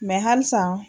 halisa